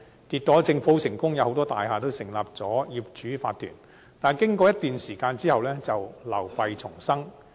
結果，政府成功達到目的，很多大廈都成立了業主法團，但經過一段時間後，便流弊叢生。